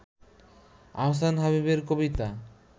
আহসান হাবীবের কবিতা